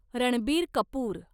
Ranbir Kapoor